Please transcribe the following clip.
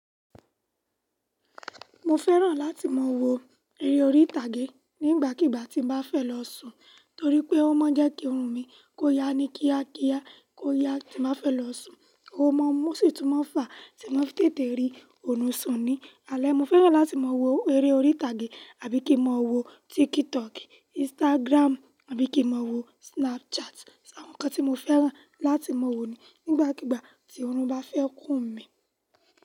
Mo fẹ́ràn láti máa wo eré orí ìtàgé nígbàkigbà tí n bá fẹ́ lọ sùn torí pé ó máa ń jẹ́ kí ọrùn mi kó ya ní kíákíá kó ya tí mo fẹ́ lọ sùn. Ó máa ń mú síi túnmọ̀ fàá tí mo fẹ́ tètè rí ọ̀nù sùn ni. Àlẹ́ mo fẹ́ràn láti máa wo eré orí ìtàgé àbí kí máa wo Tiktok, Instagram àbí kí máa wo Snapchat. Ṣé àwọn nǹkan tí mo fẹ́ràn láti máa wo ni nígbàkigbà tí ọrùn bá fẹ́ kún mí.